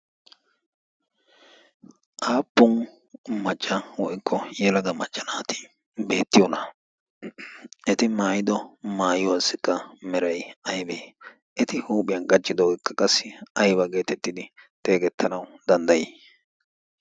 aappun maccha woikko yelaga machchanaati beettiyoona eti maayido maayiwaassikka merai aibee eti huuphiyan gachchido ekka qassi aiba geetettidi teegettanau danddayii?